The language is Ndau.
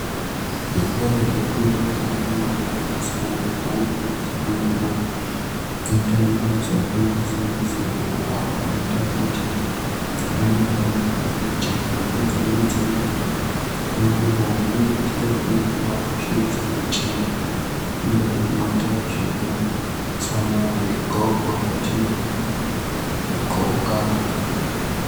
Zvikora zvinofundwa ngeakomana neasikana pavanenge vechifundira kuita mabasa akangosiyana siyana awo anoita kuti ramangwani rawo rijeke ngedzimweni dzenguwa unoona kuti vantu vachitofundiswa kushandisa michini iyo inoita zvekusona zvinxoko zvetinonxoka.